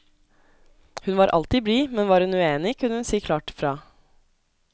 Hun var alltid blid, men var hun uenig, kunne hun si klart fra.